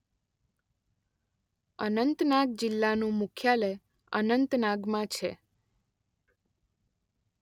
અનંતનાગ જિલ્લાનું મુખ્યાલય અનંતનાગમાં છે.